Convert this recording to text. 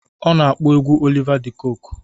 Ọ na-akpọ egwu Oliva De kokwe.